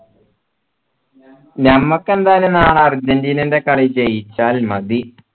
ഞമ്മക്ക് എന്തായാലും നാളെ അർജൻറീനന്റെ കളി ജയിച്ചാൽ മതി